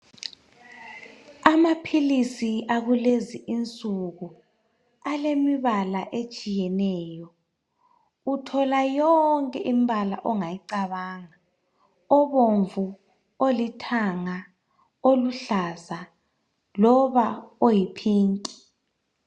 Amaphilisi akulezi insuku alemibala etshiyeneyo uthola yonke imbala ongayicabanga obomvu olithanga oluhlaza loba oyi pink.